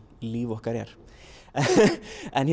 líf okkar er en